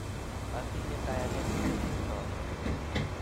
Atinye kayanet kole sirsoot